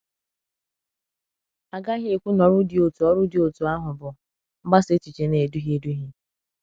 A gaghị ekwu na ọrụ dị otú ọrụ dị otú àhụ bụ “mgbasa èchìchè na-eduhie eduhie.”